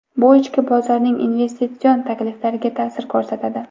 Bu ichki bozorning investitsion takliflariga ta’sir ko‘rsatadi.